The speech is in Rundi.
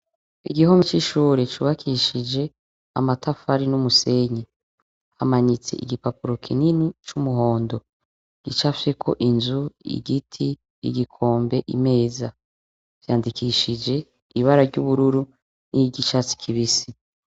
Igihome cishure cubakishijwe amatafari numusenyi hamanitse igipapuro kinini cumuhondo gicafyeko inzu igiti igikombe imeza vyandikishije ibara ryuburu nivyicatsi kibisi